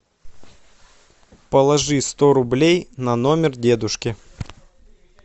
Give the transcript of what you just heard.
положи сто рублей на номер дедушки